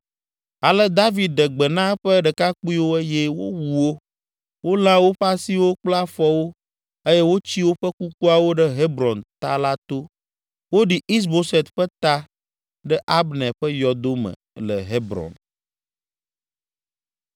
Ale David ɖe gbe na eƒe ɖekakpuiwo eye wowu wo, wolã woƒe asiwo kple afɔwo eye wotsi woƒe kukuawo ɖe Hebron ta la to. Woɖi Is Boset ƒe ta ɖe Abner ƒe yɔdo me le Hebron.